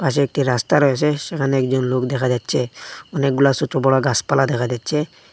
পাশে একটি রাস্তা রয়েসে সেখানে একজন লোক দেখা যাচ্ছে অনেকগুলা সোটো বড়ো গাসপালা দেখা যাচ্ছে।